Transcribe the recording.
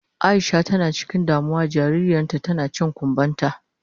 Aisha tana cikin damuwa jaririyan ta tana cin kumban ta.